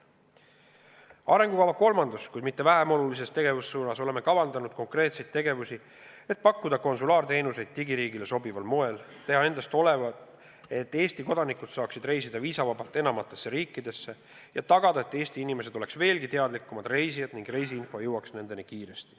Arengukava kolmandas, kuid mitte vähem olulises tegevussuunas oleme kavandanud konkreetseid tegevusi, et pakkuda konsulaarteenuseid digiriigile sobival moel, teha endast olenev, et Eesti kodanikud saaks reisida viisavabalt enamatesse riikidesse, ja tagada, et Eesti inimesed oleks veelgi teadlikumad reisijad ning reisiinfo jõuaks nendeni kiiresti.